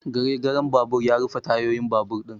Gare garen babur ya rufe tayoyin babur ɗin